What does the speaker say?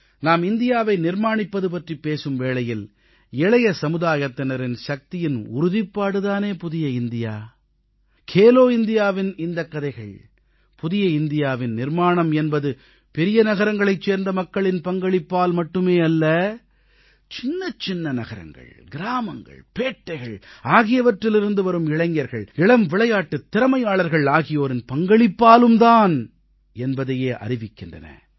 நாம் இந்தியாவை நிர்மாணிப்பது பற்றிப் பேசும் வேளையில் இளைய சமுதாயத்தினரின் சக்தியின் உறுதிப்பாடு தானே புதிய இந்தியா கேலோ இண்டியாவின் இந்தக் கதைகள் புதிய இந்தியாவின் நிர்மாணம் என்பது பெரிய நகரங்களைச் சேர்ந்த மக்களின் பங்களிப்பால் மட்டுமே அல்ல சின்னச்சின்ன நகரங்கள் கிராமங்கள் பேட்டைகள் ஆகியவற்றிலிருந்து வரும் இளைஞர்கள் இளம் விளையாட்டுத் திறமையாளர்கள் ஆகியோரின் பங்களிப்பாலும்தான் என்பதையே அறிவிக்கின்றன